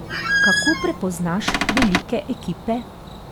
Kako prepoznaš velike ekipe?